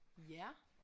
Ja